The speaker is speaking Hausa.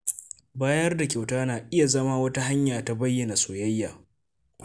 Bayar da kyauta na iya zama wata hanya ta bayyana soyayya.